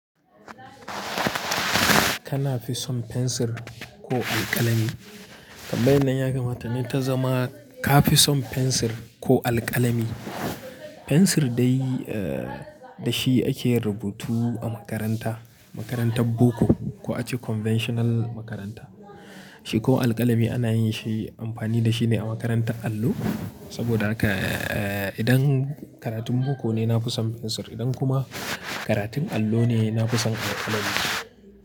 Kana fi son fensir ko alƙalami? Tambaya nan ya kamata ne ta zama ka fi son fensir ko alƙalami? Fensir dai, eh, da shi ake yin rubutu a makaranta, makarantar boko ko ace conventional makaranta. Shi kuma alƙalami ana yin shi amfani da shi ne a makarantar allo. Saboda haka, eh, idan karatun boko ne, na fi son fensir. Idan kuma karatun allo ne, na fi son alƙalami.